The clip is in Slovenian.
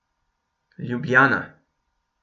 Ljubljana.